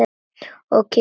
Og kitla hana.